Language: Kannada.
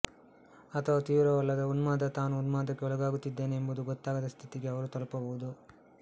ಅಥವಾ ತೀವೃವಲ್ಲದ ಉನ್ಮಾದ ತಾನು ಉನ್ಮಾದಕ್ಕೆ ಒಳಗಾಗುತ್ತಿದ್ದೇನೆ ಎಂಬುದು ಗೊತ್ತಾಗದ ಸ್ಥಿತಿಗೆ ಅವರು ತಲುಪಬಹುದು